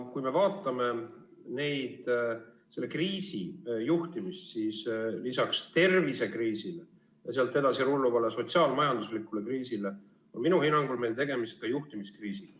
Kui me vaatame selle kriisi juhtimist, siis lisaks tervisekriisile ja sealt edasi rulluvale sotsiaal-majanduslikule kriisile on minu hinnangul meil tegemist ka juhtimiskriisiga.